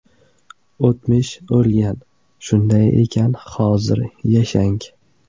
O‘tmish o‘lgan, shunday ekan hozir yashang!